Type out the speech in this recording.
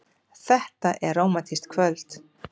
Þetta er rómantískt kvöld.